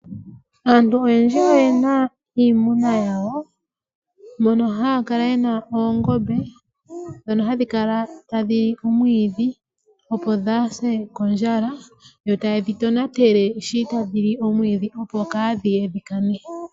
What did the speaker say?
Aantu oyendji oye na iimuna yawo, mono haya kala ye na oongombe hadhi kala tadhi li omwiidhi opo dhaase kondjala, tayedhi tonatele sho tadhi li omwiidhi opo kaadhi kane.